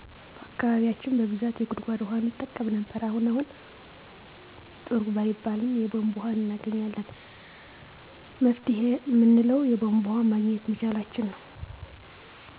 በአካባቢያችን በብዛት የጉድጎድ ውሀ እንጠቀም ነበር አሁን አሁን ጥሩ ባይባልም የቦንቦ ወሀ እናገኛለን መፍትሄ እምንለው የቦንቦ ወሀ ማግኘት መቻላችንን ነው